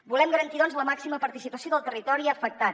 volem garantir doncs la màxima participació del territori afectat